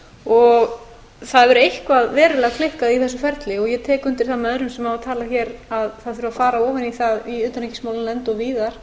það hefur eitthvað verulega klikkað í þessu ferli ég tek undir það með örum sem hafa talað hér að það þurfi að fara ofan í það í utanríkismálanefnd og víðar